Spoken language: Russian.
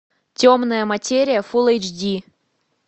темная материя фулл эйч ди